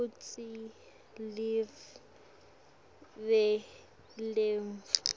kutsi live letfu